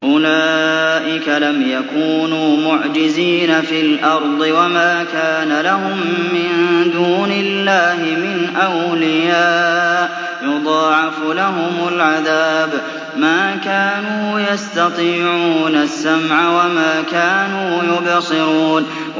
أُولَٰئِكَ لَمْ يَكُونُوا مُعْجِزِينَ فِي الْأَرْضِ وَمَا كَانَ لَهُم مِّن دُونِ اللَّهِ مِنْ أَوْلِيَاءَ ۘ يُضَاعَفُ لَهُمُ الْعَذَابُ ۚ مَا كَانُوا يَسْتَطِيعُونَ السَّمْعَ وَمَا كَانُوا يُبْصِرُونَ